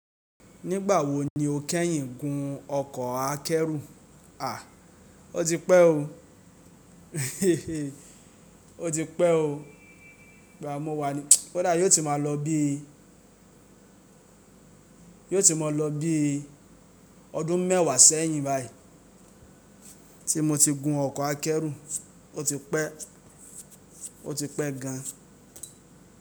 Nígbà wo ni o kẹ́yìn gun ọkọ̀ akẹ́rù? O ti pẹ́ o, o ti pẹ́ o. Ìgbà mo wa ni, kodà yóò ti máa lọ bí, yóò ti máa lọ bí ọdún mẹ́wàá sẹ́yìn báyìí tí mo ti gun ọkọ̀ akẹ́rù, o ti pẹ́, o ti pẹ́ gan.